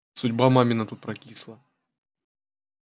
судьба мамина тут прокисла